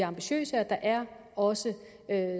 ambitiøse og der er også